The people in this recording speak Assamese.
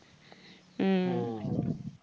উম